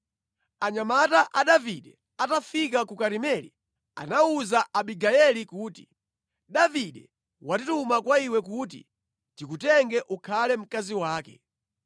Anyamata a Davide atafika ku Karimeli anawuza Abigayeli kuti, “Davide watituma kwa iwe kuti tikutenge ukhale mkazi wake.”